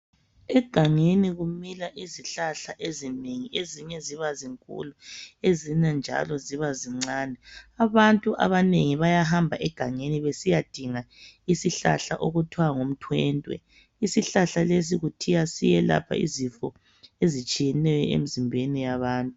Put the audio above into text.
Egangeni kumila izihlahla ezinengi ezinye zibazinkulu ezinye njalo ziba zincane abantu abanengi bayahamba egangeni besiyadinga isihlahla okuthiwa ngumthwentwe isihlahla lesi kuthiwa siyelapha izifo ezitshiyeneyo emizimbeni yabantu.